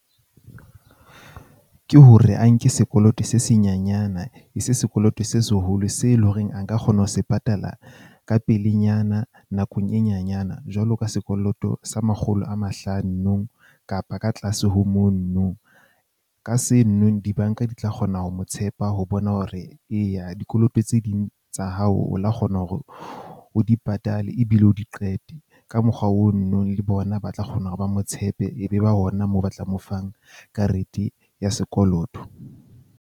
Ke hore a nke sekoloto se se nyanyana e se sekoloto se seholo, se leng horeng a ka kgona ho se patala ka pelenyana nakong e nyanyana. Jwalo ka sekoloto sa makgolo a mahlano kapa ka tlase ho mono nong, ka seno di-bank-a di ka kgona ho mo tshepa. Ho bona hore eya dikoloto tse ding tsa hao o la kgona hore o di patale ebile o di qete. Ka mokgwa o no nong le bona ba tla kgona hore ba mo tshepe ebe ba ona moo ba tla mo fang, karete ya sekoloto.